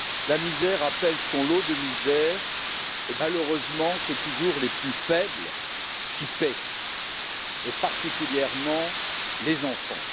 La misère appelle son lot de misères et malheureusement, ce sont toujours les plus faibles qui paient, et particulièrement les enfants.